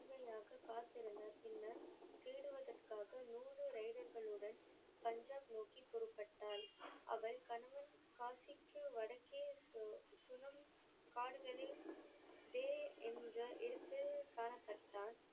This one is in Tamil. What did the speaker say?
காத்திருந்தார் பின்னர் தேடுவதற்காக நூறு ரைரர்கள் உடன் பஞ்சாப் நோக்கி புறப்பட்டாள். அவள் கணவன் காசிக்கு வடக்கே போய் சிலோன் காடுகளில் வே என்ற எழுத்து காணப்பட்டால்